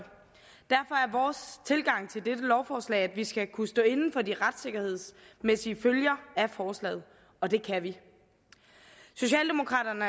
vores tilgang til dette lovforslag at vi skal kunne stå inde for de retssikkerhedsmæssige følger af forslaget og det kan vi socialdemokraterne